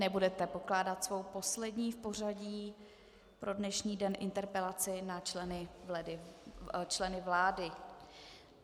Nebudete pokládat svou poslední v pořadí pro dnešní den interpelaci na členy vlády.